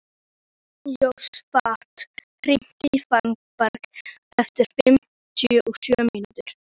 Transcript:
Jósafat, hringdu í Fannberg eftir fimmtíu og sjö mínútur.